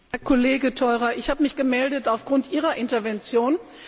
Herr Kollege Theurer, ich habe mich gemeldet aufgrund Ihrer Intervention.